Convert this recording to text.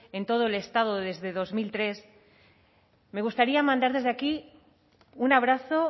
en todo el estado desde dos mil tres me gustaría mandar desde aquí un abrazo